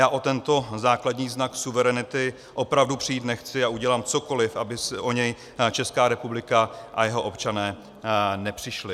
Já o tento základní znak suverenity opravdu přijít nechci a udělám cokoli, aby o něj Česká republika a jeho občané nepřišli.